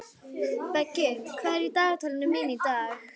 Beggi, hvað er í dagatalinu mínu í dag?